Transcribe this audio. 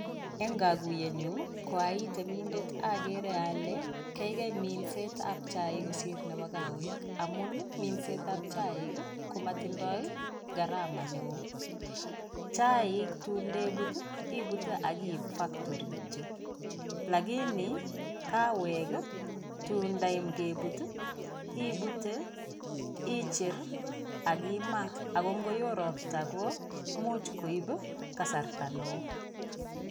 En kokuyenyun koai temindet okere ole keikai minsetab chaik kosir nebo kawek amun ii minsetab chaik komotindoi gharama neo, chaik tundebut ibute ii ak kiib koba factory kitiok. Lakini kawek ii tundayam kebut ii ibute, icher ak kimaa ako ngoyo ropta ko imuch koib kasarta neo.